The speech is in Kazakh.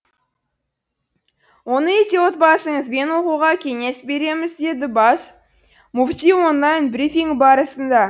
оны үйде отбасыңызбен оқуға кеңес береміз деді бас мүфти онлайн брифинг барысында